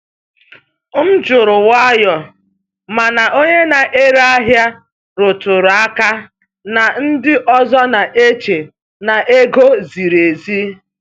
M jụrụ nwayọọ, mana onye na-ere ahịa rụtụrụ aka na ndị ọzọ na-eche na ego ziri ezi.